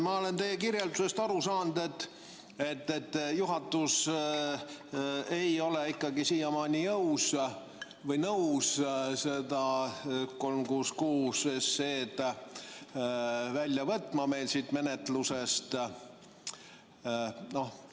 Ma olen teie kirjeldusest aru saanud, et juhatus ei ole ikkagi siiamaani nõus seda seaduseelnõu 366 meil menetlusest välja võtma.